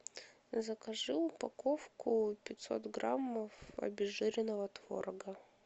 закажи упаковку пятьсот граммов обезжиренного творога